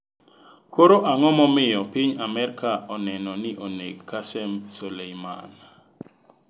Koro ang'o momiyo piny Amerka oneno ni oneg Qasem Soleiman?